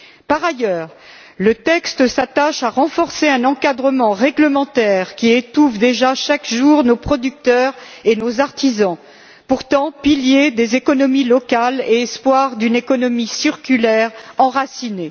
Par ailleurs, le texte s'attache à renforcer un encadrement réglementaire qui étouffe déjà chaque jour nos producteurs et nos artisans qui sont pourtant les piliers des économies locales et les espoirs d'une économie circulaire enracinée.